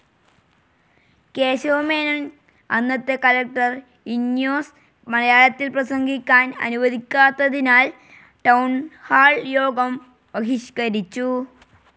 കേശവമേനോൻ, അന്നത്തെ കളക്ടർ ഇന്വാസ് മലയാളത്തിൽ പ്രസംഗിക്കാൻ അനുവദിക്കാത്തതിനാൽ ടൌൺ ഹാൾ യോഗം ബഹിഷ്കരിച്ചു.